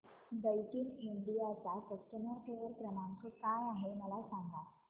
Daikin India चा customer care क्रमांक काय आहे मला सांगा